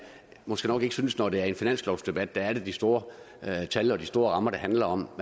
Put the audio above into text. måske nok synes når det er finanslovsdebat at det er de store tal og de store rammer det handler om